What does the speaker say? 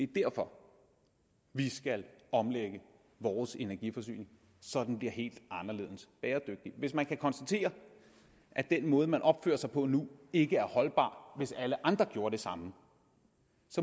derfor vi skal omlægge vores energiforsyning så den bliver helt anderledes bæredygtig hvis man kan konstatere at den måde man opfører sig på nu ikke er holdbar hvis alle andre gjorde det samme